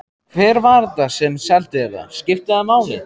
Hver var þetta sem seldi þér það? Skiptir það máli?